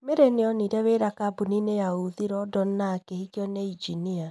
Mary nĩonire wĩra kambuni-inĩ ya ũthii London na akĩhikio ni injinia.